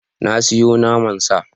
Na sayo naman sa.